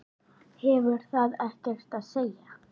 Hefur það ekkert að segja?